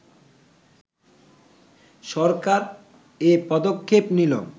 সরকার এ পদক্ষেপ নিল